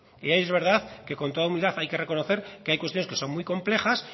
y ahí es verdad que con toda humildad hay que reconocer que hay cuestiones que son muy complejas